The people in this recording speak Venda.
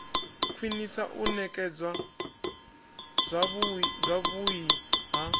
khwinisa u nekedzwa zwavhui ha